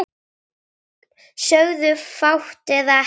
Sögðum fátt eða ekki neitt.